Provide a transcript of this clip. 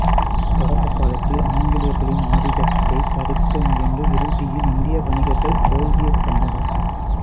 தொடக்கக் காலத்தில் ஆங்கிலேயர்களின் ஆதிக்கத்தைத் தடுக்க முயன்று இறுதியில் இந்திய வணிகர்கள் தோல்வியைக் கண்டனர்